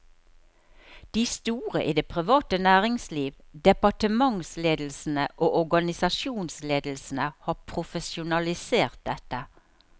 De store i det private næringsliv, departementsledelsene og organisasjonsledelsene har profesjonalisert dette.